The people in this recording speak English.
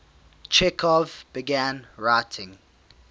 chekhov began writing